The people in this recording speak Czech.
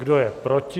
Kdo je proti?